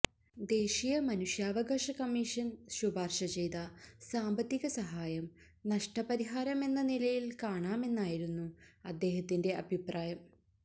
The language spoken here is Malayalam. ദേശീയ മനുഷ്യാവകാശ കമ്മീഷന് ശിപാര്ശ ചെയ്ത സാമ്പത്തിക സഹായം നഷ്ടപരിഹാരമെന്ന നിലയില് കാണാമെന്നായിരുന്നു അദ്ദേഹത്തിന്റെ അഭിപ്രായം